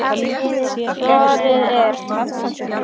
Svarið er